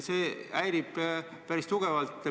See häirib päris tugevalt.